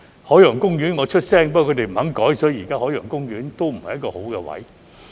海洋公園，我有發聲，不過他們不肯改，所以現時海洋公園的不是好位置。